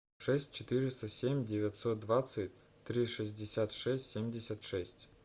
шесть четыреста семь девятьсот двадцать три шестьдесят шесть семьдесят шесть